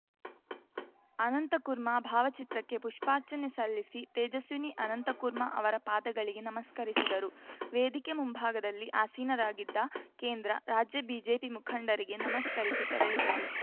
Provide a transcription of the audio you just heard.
ಅನಂತಕುರ್ಮಾ ಭಾವಚಿತ್ರಕ್ಕೆ ಪುಷ್ಪಾರ್ಚನೆ ಸಲ್ಲಿಸಿ ತೇಜಸ್ವಿನಿ ಅನಂತಕುರ್ಮಾ ಅವರ ಪಾದಗಳಿಗೆ ನಮಸ್ಕರಿಸಿದರು ವೇದಿಕೆ ಮುಂಭಾಗದಲ್ಲಿ ಆಸೀನರಾಗಿದ್ದ ಕೇಂದ್ರ ರಾಜ್ಯ ಬಿಜೆಪಿ ಮುಖಂಡರಿಗೆ ನಮಸ್ಕರಿಸಿ ತೆರಳಿದರು